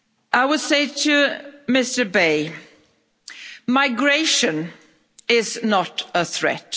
I would say to Mr Bay, migration is not a threat.